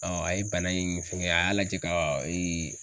a ye bana in fɛngɛ a y'a lajɛ ka